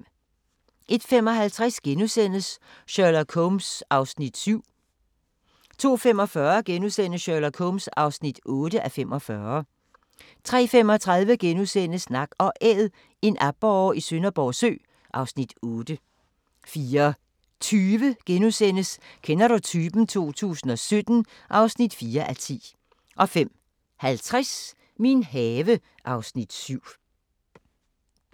01:55: Sherlock Holmes (7:45)* 02:45: Sherlock Holmes (8:45)* 03:35: Nak & Æd – en aborre i Skanderborg Sø (Afs. 8)* 04:20: Kender du typen? 2017 (4:10)* 05:50: Min have (Afs. 7)